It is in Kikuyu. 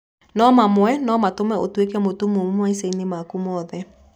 No mamwe no matũme ũtuĩke mũtumumu maica-inĩ maku mothe.